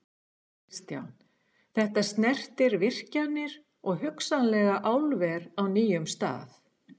Kristján: Þetta snertir virkjanir og hugsanlega álver á nýjum stað?